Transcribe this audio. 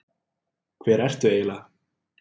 Hver ertu eiginlega?